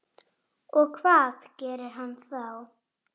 Hún var orðin hálf ellefu.